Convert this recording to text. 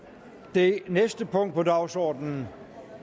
det næste punkt på dagsordenen